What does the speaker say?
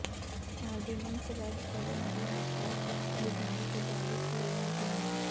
ordinance ਰੱਦ ਕਰਨ ਦਾ ਮਤਾ ਵਿਧਾਨ ਸਭਾ ਵਿਚ ਲਿਆਉਣ ਦੀ ਮੰਗ